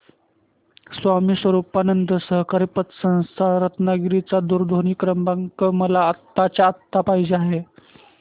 स्वामी स्वरूपानंद सहकारी पतसंस्था रत्नागिरी चा दूरध्वनी क्रमांक मला आत्ताच्या आता पाहिजे आहे